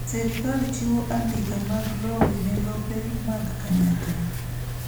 Sirkal chiwo andika mag lowo ne lope mag kanyakla